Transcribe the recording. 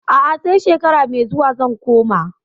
A'a, sai shekara mai zuwa zan koma.